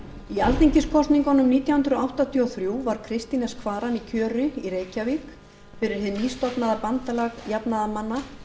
í alþingiskosningunum nítján hundruð áttatíu og þrjú var kristín s kvaran í kjöri í reykjavík fyrir hið nýstofnaða bandalag jafnaðarmanna